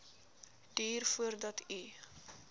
duur voordat u